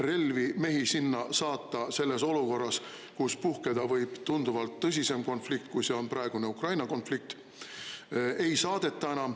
Relvi, mehi sinna saata selles olukorras, kus puhkeda võib tunduvalt tõsisem konflikt, kui see on praegune Ukraina konflikt – ei saadeta enam.